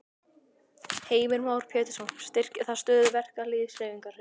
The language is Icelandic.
Heimir Már Pétursson: Styrkir það stöðu verkalýðshreyfingarinnar?